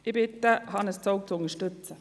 Ich bitte darum, Hannes Zaugg zu unterstützen.